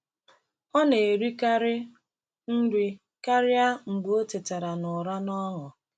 Ọ na-erikarị nri karịa mgbe ọ tetara n’ụra n’ọṅụ.